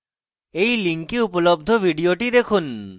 এই link উপলব্ধ video দেখুন